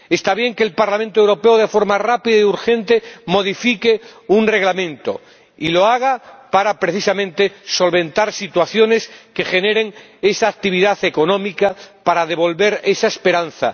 Está bien que el Parlamento Europeo de forma rápida y urgente modifique un reglamento, y que lo haga precisamente para solventar situaciones y generar esa actividad económica para devolver esa esperanza.